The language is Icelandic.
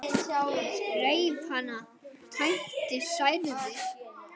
Reif hana, tætti, særði.